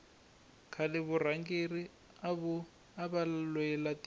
khale varhangeri ava lwela tiko